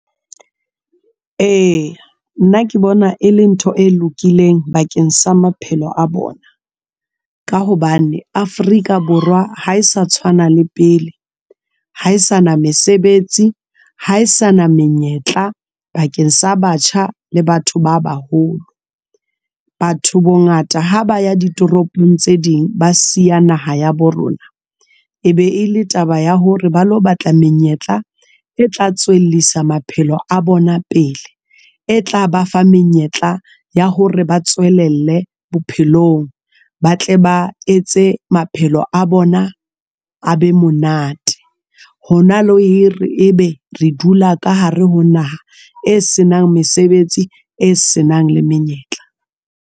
Eya, nna ke bona e leng ntho e lokileng bakeng sa maphelo a bona. Ka hobane Afrika Borwa ha e sa tshwana le pele, ha e sa na mesebetsi, ha e sa na menyetla bakeng sa batjha le batho ba baholo. Batho bongata ha ba ya di toropong tse ding, ba siya naha ya bo rona e be e le taba ya hore ba lo batla menyetla e tla tswellisa maphelo a bona pele e tla bafa menyetla ya hore ba tswelelle bophelong, ba tle ba etse maphelo a bona a be monate. Hona le hire ebe re dula ka hare ho naha e senang mesebetsi e senang le menyetla.